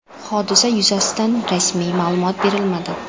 Hodisa yuzasidan rasmiy ma’lumot berilmadi.